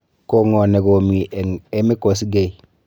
Kong'o negomii eng' Emmy kosgei